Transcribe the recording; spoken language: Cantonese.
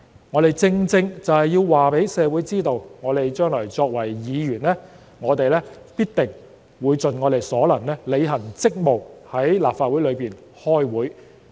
我們正正要告知社會，我們將來作為議員，必定會盡我們所能履行職務，在立法會出席會議。